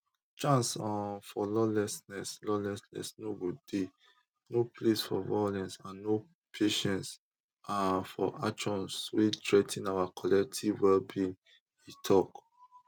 chance um for lawlessness lawlessness no go dey no place for violence and no patience um for actions wey threa ten our collective wellbeing e tok